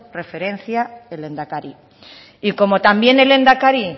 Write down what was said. referencia el lehendakari y como también el lehendakari